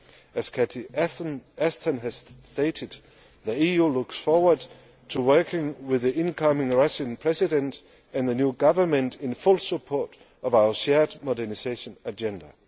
on. As Cathy Ashton has stated, the EU looks forward to working with the incoming Russian President and the new government in full support of our shared modernisation agenda.